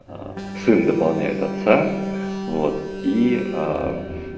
сын дополняет отца вот ии